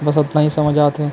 बस अतनाा ही समझ आ थे।